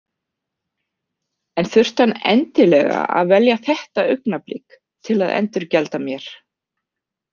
En þurfti hann endilega að velja þetta augnablik til að endurgjalda mér?